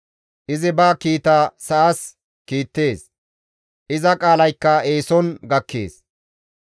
Izi ba kiita sa7as kiittees; iza qaalaykka eeson gakkees.